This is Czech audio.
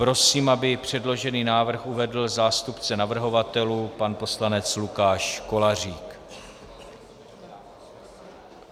Prosím, aby předložený návrh uvedl zástupce navrhovatelů pan poslanec Lukáš Kolářík.